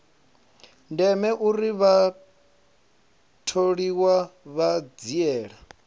ndeme uri vhatholiwa vha dzhiele